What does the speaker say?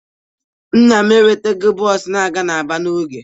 Nna m enwetaghị bọọsụ na-aga Aba n'oge.